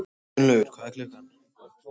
Gunnlaugur, hvað er klukkan?